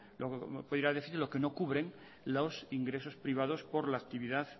puede ir a déficit lo que no cubren los ingresos privados por la actividad